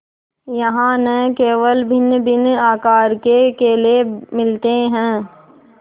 यहाँ न केवल भिन्नभिन्न आकार के केले मिलते हैं